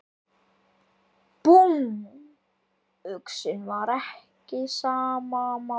Búmm, uxinn var ekki á sama máli.